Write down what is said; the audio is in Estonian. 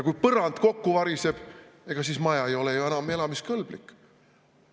Kui põrand kokku variseb, ega siis maja ei ole ju enam elamiskõlblik.